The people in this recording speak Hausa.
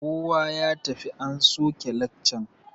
Kowa ya tafi an soke lekcan!